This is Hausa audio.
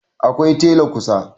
A akwai tela kusa